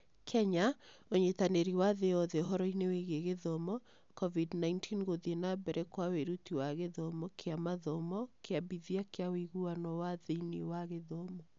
KENYA (Ũnyitanĩri wa Thĩ Yothe Ũhoro-inĩ Wĩgiĩ Gĩthomo) COVID 19 Gũthiĩ na Mbere kwa Wĩruti wa Gĩthomo kĩa Mathomo Kĩambithia kĩa Ũiguano wa Thĩinĩ wa Gĩthomo